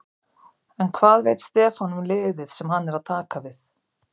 En hvað veit Stefán um liðið sem hann er að taka við?